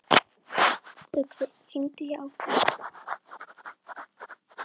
Uxi, hringdu í Ágúst.